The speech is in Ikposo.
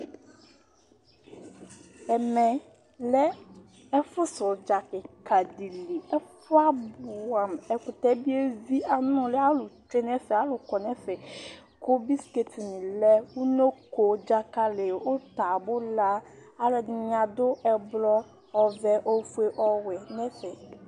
Ɛmɛlɛ ɛƒu sɛ ʋdza kìka ɖi li Ɛfʋɛ abʋɛ amʋ Ɛkʋtɛ bi evi, anʋli Alu tsʋe ŋu ɛfɛ Alu kɔ ŋu ɛfɛ Ʋnoko, dzakali, ʋta, abula nilɛ Alʋɛdìní aɖu ɛblɔ, ɔvɛ, ɔfʋe, ɔwɛ ŋu ɛfɛ